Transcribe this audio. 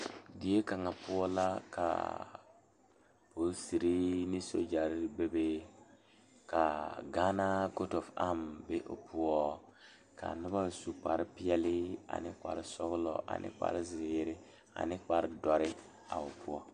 Die kaŋa poɔ la kaa polisiri ne sogyare be be kaa gaana foto be o poɔ ka noba su kpar peɛle ane kpar sɔgelɔ ne kpar zeere ane kpar dɔre a o poɔ